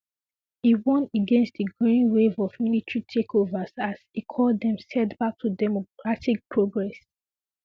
e warn against di growing wave of military takeovers as e call dem setback to democratic progress